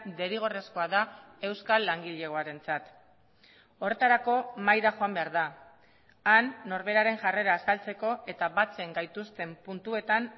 derrigorrezkoa da euskal langilegoarentzat horretarako mahaira joan behar da han norberaren jarrera azaltzeko eta batzen gaituzten puntuetan